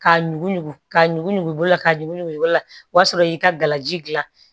Ka ɲugu ɲugu ka ɲugu ɲugula ka ɲugu ɲugula o y'a sɔrɔ i y'i ka gala ji gilan